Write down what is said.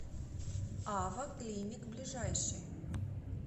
ава клиник ближайший